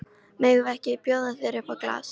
Megum við ekki bjóða þér upp á glas?